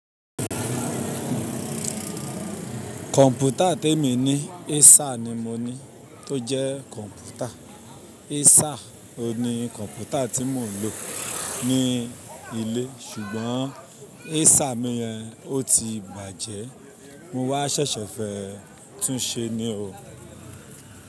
Kọ̀mpútà tí èmi ní Acer ni mo ní tó jẹ́ kọ̀mpútà. Acer oun ni kọ̀mpútà tí mò ń lò ní ilé ṣùgbọ́n Acer mi yẹn ó ti bàjẹ́, mo wá ṣẹ̀ṣẹ̀ fẹ́ túnṣe ní o.